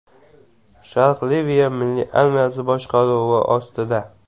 Sharq Liviya milliy armiyasi boshqaruvi ostida.